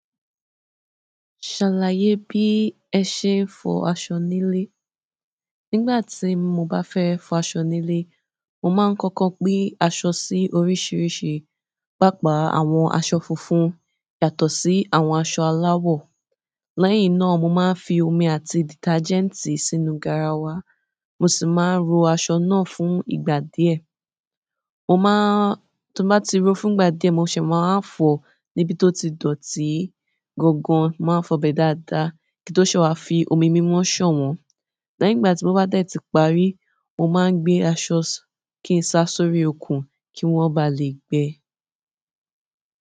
Ṣàlàyé bí ẹ ṣe ń fọ aṣọ nílé. Nígbà tí mo bá fẹ́ fọ aṣọ nílé, mo máa ń kọ́kọ́ gbé aṣọ sí oríṣiríṣi, pàápàá àwọn aṣọ funfun yàtọ̀ sí àwọn aṣọ aláwọ̀. Lẹ́yìn náà, mo máa ń fi omi àti dìtájẹ́ǹtì sínú garawa, mo sì máa ń ro aṣọ náà fún ìgbà díẹ̀. Mo máa ń-- tó bá ti ro fún ìgbà díẹ̀, mo ṣẹ̀ máa wá fọ̀ọ́ níbi tó ti dọ̀tí gangan, mo máa ń fọ'bẹ̀ dáadáa kí n tó ṣẹ̀ẹ̀ wá fi omi mímọ́ ṣàn wọ́n. Lẹ́yìn ìgbà tí mo bá dẹ̀ tí parí, mo máa ń gbé aṣọ kí n sa sórí okùn kí wọ́n ba lè gbẹ.